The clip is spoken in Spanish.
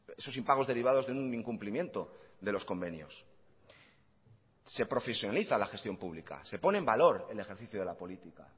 esos impagos derivados de un incumplimiento de los convenios se profesionaliza la gestión pública se pone en valor el ejercicio de la política